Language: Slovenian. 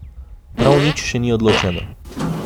Prav nič še ni odločeno.